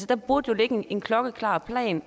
der burde jo ligge en klokkeklar plan